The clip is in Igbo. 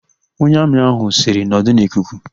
Onye Amị ahụ sịrị, "nọdụ n'ikuku"!